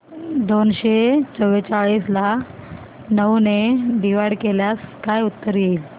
दोनशे चौवेचाळीस ला नऊ ने डिवाईड केल्यास काय उत्तर येईल